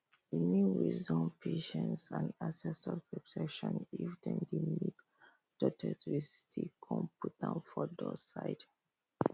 e mean wisdom patience and ancestors protection if dem make tortis stick con put am for door side